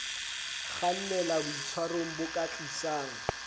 kgannela boitshwarong bo ka tlisang